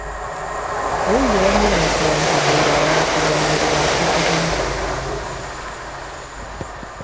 Wĩigĩre mĩoroto ya ihinda iraya ya kũiga mwĩrĩ waku ũgima.